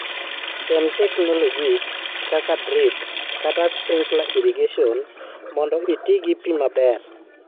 tem technologies kaka drip kata sprinkler irrigation mondo itii gi pii maber